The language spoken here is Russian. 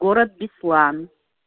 город беслан